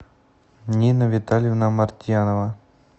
нина витальевна мартьянова